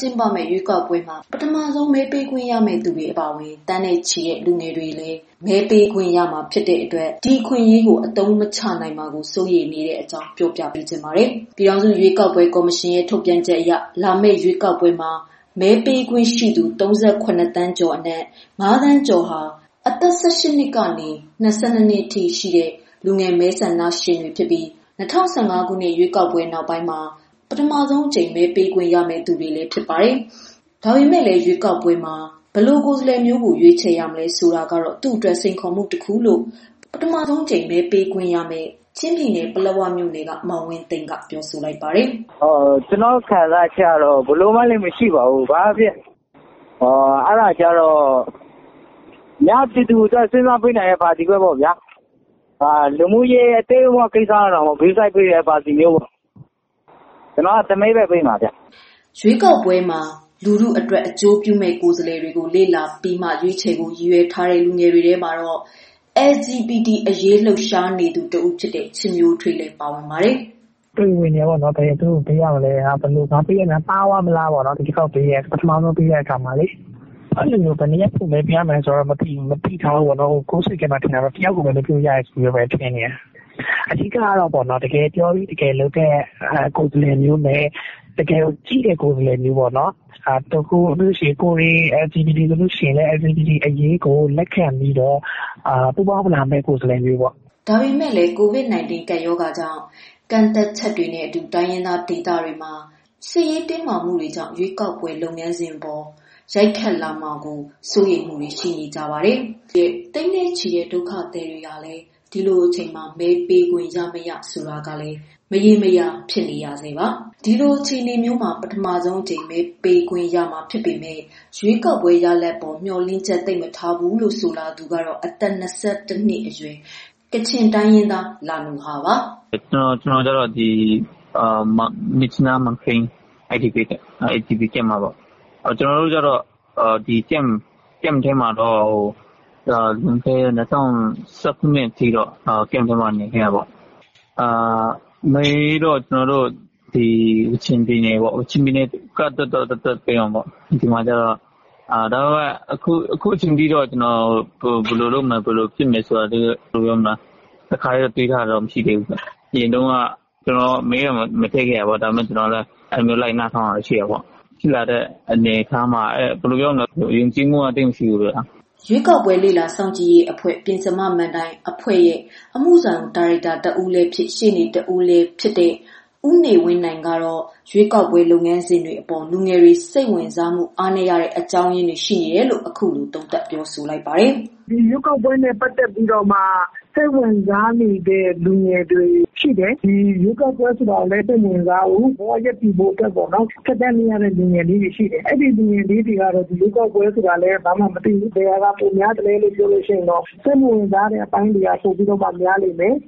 ကျင်းပမယ့် ရွေးကောက်ပွဲမှာ ပထမဆုံးအကြိမ် မဲပေးခွင့်ရမယ့်သူတွေ အပါအဝင် သန်းနဲ့ချီတဲ့ လူငယ်တွေလည်း မဲပေးခွင့်ရမှာ ဖြစ်ပေမဲ့ အခွင့်အရေးကို အသုံးမချနိုင်မှာ စိုးရိမ်နေတဲ့အကြောင်း မမေခ ပြောပြပေးမှာပါ။ ပြည်ထောင်စုရွေးကောက်ပွဲ ကော်မရှင်ရဲ့ ထုတ်ပြန်ချက်အရ လာမယ့်ရွေးကောက်ပွဲမှာ မဲပေးခွင့်ရှိသူ ၃၇ သန်းကျော်အနက် ၅ သန်းကျော်ဟာ အသက် ၁၈ နှစ်ကနေ ၂၂ နှစ်အထိရှိကြတဲ့ လူငယ် မဲဆန္ဒရှင်တွေဖြစ်ပြီး၊ ၂၀၁၅ ခုနှစ် ရွေးကောက်ပွဲနောက်ပိုင်း ပထမဆုံးအကြိမ် မဲပေးခွင့်ရမယ့်သူတွေလည်း ဖြစ်ပါတယ်။ ဒါပေမဲ့လည်း ရွေးကောက်ပွဲမှာ ဘယ်လိုကိုယ်စားလှယ်မျိုးကို ရွေးချယ်ရမယ် ဆိုတာကတော့ သူ့အတွက် စိန်ခေါ်မှု တခုလို့လည်း ပထမဆုံးအကြိမ် မဲပေးခွင့်ရမယ့် ချင်းပြည်နယ်၊ ပလက်ဝမြို့က မောင်ဝင်းသိန်းက ပြောပါတယ်။ “ကျနော့်ခံစားချက်ကတော့ ဘယ်လိုမှလည်း မရှိပါဘူး။ အများပြည်သူကိုအတွက် စဉ်းစားပေးနိုင်တဲ့ပါတီ၊ လူမှုရေးအသေးအဖွဲကိုတောင်ဂရုစိုက်ပေးတဲ့ ပါတီပေါ့။ ကျနော်က တယောက်ထဲမဲပေးမှာဗျ။” ရွေးကောက်ပွဲမှာ လူထုအတွက် အကျိုးပြုမယ့် ကိုယ်စားလှယ်တွေကို လေ့လာပြီးမှ ရွေးချယ်ဖို့ ရည်ရွယ်ထားတဲ့ လူငယ်တွေထဲမှာတော့ LGBT အရေး လှုပ်ရှားနေသူ တဦးဖြစ်တဲ့ ချစ်မျိုးထွေး လည်းပါဝင်ပါတယ်။ “တွေဝေနေတယ် ဘယ်သူ့ကိုပေးရမလဲပေါ့။ ငါပေးတာမှားမလားပေါ့ ပထမဆုံးဆိုတော့လေ။ ဘယ်နှစ်ယောက်ပေးရမယ်မသိဘူး စိတ်ထဲမှာ ထင်တာကတော့ တယောက်ထဲပေးရမယ်လို့တော့ ထင်တာဘဲ။ အဓိကကတော့ တကယ်ပြောပြီး တကယ်လုပ်တဲ့ကိုယ်စားလှယ်မျိုးနဲ့ တကယ်ကြည့်တဲ့သူမျိုး ကိုယ်တွေ LGBT အရေးတွေကို တကယ်နားလည် လက်ခံပေးတဲ့ သူမျိုးပေါ့ နောက်ပူးပေါင်းလာမယ့် သူမျိုးပေါ့။” ဒါပေမဲ့လည်း COVID-19 ကပ်ရောဂါကြောင့် ကန့်သတ်ချက်တွေနဲ့အတူ တိုင်းရင်းသား ဒေသတွေမှာ စစ်ရေးတင်းမာမှုတွေကြောင့် ရွေးကောက်ပွဲ လုပ်ငန်းစဉ်မှာ ရိုက်ခတ်မှာကို စိုးရိမ်မှုတွေလည်း ရှိနေပါတယ်။ သိန်းနဲ့ချီတဲ့ စစ်ရှောင်ဒုက္ခသည်တွေဟာလည်း ရွေးကောက်ပွဲမှာ မဲပေးခွင့်ရ-မရ မရေမရာ ဖြစ်နေတာပါ။ ဒီလိုအခြေအနေမျိုးမှာ ပထမဆုံးအကြိမ် မဲပေးခွင့်ရတော့မှာ ဖြစ်ပေမဲ့ ရွေးကောက်ပွဲ ရလဒ်အပေါ် မျှော်လင့်ချက် သိပ်မထားဘူးလို့ ဆိုလာသူကတော့ အသက် ၂၁ နှစ်အရွယ် ကချင်တိုင်းရင်းသား လာနူဟာပါ။ “ ကျနော်က ကချင် မြစ်ကြီးနားမှာရှိတဲ့ မန်ခိန်းစစ်ရှောင်စခန်းကပါ။ ကျနော်ကတော့ လွန်ခဲ့တဲ့ ၂၀၁၇ ထိက စစ်ရှောင်စခန်းမှာနေခဲ့တာပေါ့။ အဓိကတော့ ကျနော်တို့ ကချင်ပြည်နယ်ပေါ့ ကချင်ပြည်နယ်အတွက်တော့ ပေးမှာပေါ့။ ဒါပေမယ့် အခုအချိန်အထိတော့ ဘယ်လိုပေးမယ်ဆိုတာ စဉ်းစားထားတာမရှိပါဘူး။ အရင်က ကျနော်မဲသာမထည့်ခဲ့တာ၊ မဲဆွယ်တာ လိုက်နားထောင် ခဲ့တယ်။ဖြစ်လာတာ တွေကြည့်ပြီးတော့ ဘယ်လိုပြောမလဲ ယုံကြည်မှုသိပ်မရှိဘူးပေါ့ဗျာ။” ရွေးကောက်ပွဲ လေ့လာစောင့်ကြည့်လေ့လာရေးအဖွဲ့ ပဥမ မဏ္ဍိုင် အဖွဲ့ အမှုဆောင် ဒါရိုက်တာ တဦးလည်းဖြစ်၊ ရှေ့နေတဦးလည်းဖြစ်တဲ့ ဦးနေဝင်းနိုင် ကတော့ ရွေးကောက်ပွဲ လုပ်ငန်းစဉ်အပေါ် လူငယ်တွေ စိတ်ဝင်စားမှု အားနည်းရတဲ့ အကြောင်းရင်းတွေ ရှိနေတယ်လို့ အခုလိုသုံးသပ်ပါတယ်။ “ ဒီရွေးကောက်ပွဲနဲ့ ပတ်သတ်လို့စိတ်ဝင်စားသူတွေရှိတယ်။ ရွေးကောက်ပွဲဆိုတာ စိတ်မဝင်စားဘူး ဘဝရပ်တည်ရေး ကြိုးပမ်းနေသူတွေပေါ့။ သူတို့တွေက ရွေးကောက်ပွဲကို မသိသလို အာရုံမစိုက်နိုင်ဘူး။ ဘယ်ဟာကပိုများလဲဆို စိတ်မဝင်စားတဲ့အပိုင်းကပိုများမယ်။ ဒီ